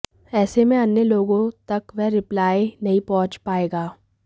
ऐसे में अन्य लोगों तक वह रिप्लाई नहीं पहुंच पाएगा